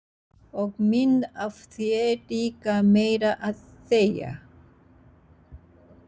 Og mynd af sér líka meira að segja.